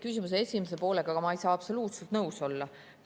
Küsimuse esimese poolega ma ei saa absoluutselt nõus olla.